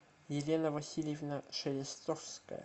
елена васильевна шелестовская